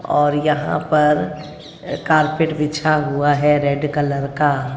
और यहां पर कारपेट बिछा हुआ है रेड कलर का--